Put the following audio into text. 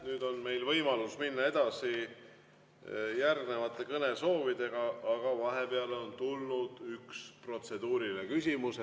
Nüüd on meil võimalus minna edasi järgmiste kõnesoovidega, aga vahepeal on tulnud üks protseduuriline küsimus.